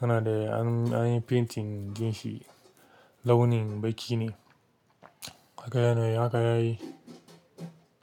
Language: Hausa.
yana da anyi painting jikin shi launin baƙi ne. Haka yana yi haka yayi.